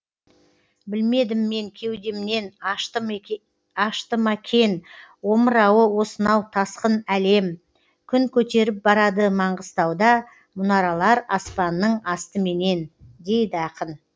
білмедім мен кеудемнен ашты ма кен омырауы осынау тасқын әлем күн көтеріп барады маңғыстауда мұнаралар аспанның астыменен дейді ақын